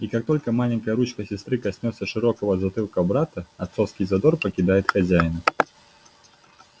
и как только маленькая ручка сестры коснётся широкого затылка брата отцовский задор покидает хозяина